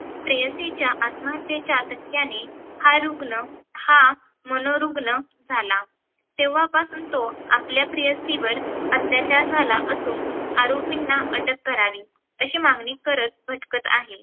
प्रेयसीच्या आत्महत्येच्या धक्क्याने, हा रुग्ण हा मनोरुग्ण झाला. तेव्हापासून तो आपल्या प्रेयसीवर अत्याचार झाला असून आरोपीना अटक करावी अशी मागणी करत भटकत आहे.